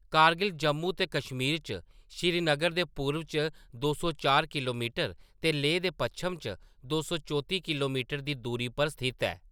कारगिल जम्मू ते कश्मीर च श्रीनगर दे पूरव च दो सौ चार किल्लोमीटर ते लेह दे पच्छम च दो सौ चौती किल्लोमीटर दी दूरी पर स्थित ऐ।